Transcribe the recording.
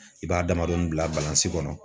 I b'a damadɔni bila balansi kɔnɔ